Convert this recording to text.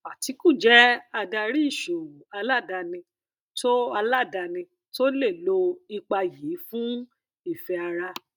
atiku jẹ adarí ìṣòwò aládàáni tó aládàáni tó lè lo ipa yìí fún ìfẹ ara